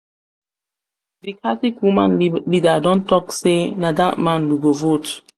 d catholic woman leader don talk say na that man we go vote.